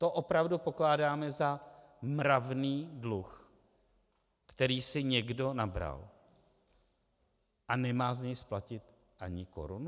To opravdu pokládáme za mravný dluh, který si někdo nabral a nemá z něj splatit ani korunu?